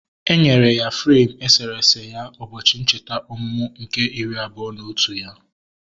Enyere ya freim eserese ya ụbọchị ncheta ọmụmụ nke iri abụọ na otu ya